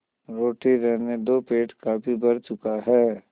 रोटी रहने दो पेट काफी भर चुका है